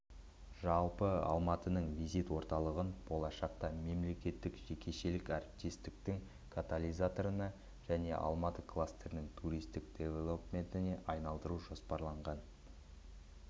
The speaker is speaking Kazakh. жалпы алматының визит орталығын болашақта мемлекеттік жекешелік әріптестіктің катализаторына және алматы кластерінің туристік девелопментіне айналдыру жоспарланған